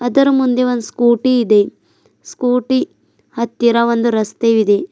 ಅದರ ಮುಂದೆ ಒಂದ ಸ್ಕೂಟಿ ಇದೆ ಸ್ಕೂಟಿ ಹತ್ತಿರ ಒಂದು ರಸ್ತೆವಿದೆ.